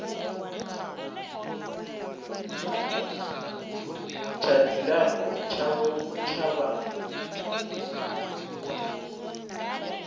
tsha dzilafho tshavho tsha vha